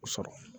Sɔrɔ